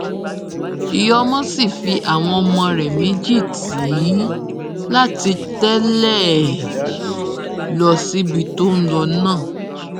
ìyá ọmọ sì fi àwọn ọmọ rẹ méjì tì í láti tẹlé e lọ síbi tó ń lọ náà